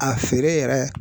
A feere yɛrɛ